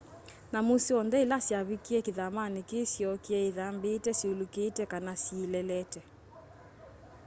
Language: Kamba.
nyamũ syonthe ila syavikĩe kĩthamanĩ kĩĩ syookĩe ithambĩĩte syũlũkĩte kana syĩlelete